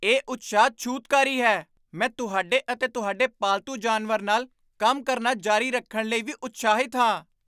ਇਹ ਉਤਸ਼ਾਹ ਛੂਤਕਾਰੀ ਹੈ! ਮੈਂ ਤੁਹਾਡੇ ਅਤੇ ਤੁਹਾਡੇ ਪਾਲਤੂ ਜਾਨਵਰ ਨਾਲ ਕੰਮ ਕਰਨਾ ਜਾਰੀ ਰੱਖਣ ਲਈ ਵੀ ਉਤਸ਼ਾਹਿਤ ਹਾਂ।